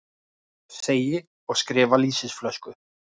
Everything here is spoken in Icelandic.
Segi og skrifa lýsisflösku.